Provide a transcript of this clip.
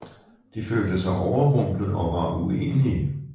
De følte sig overrumplet og var uenige